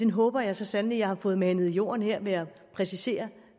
håber jeg så sandelig at jeg har fået manet i jorden her ved at præcisere